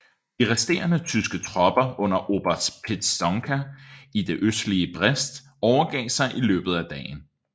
De resterende tyske tropper under oberst Pietzonka i det østlige Brest overgav sig i løbet af dagen